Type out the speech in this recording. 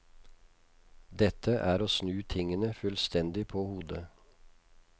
Dette er å snu tingene fullstendig på hodet.